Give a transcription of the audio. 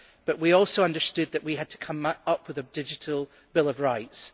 But we also understood that we had to come up with a digital bill of rights.